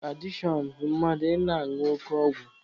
Dụrọg adishọn bụ mmadụ ị na-añụ oke ọgwụ..